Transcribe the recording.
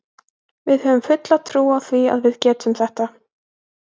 Við höfum fulla trú á því að við getum það.